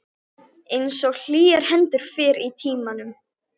Einsog hlýjar hendurnar fyrr í tímanum.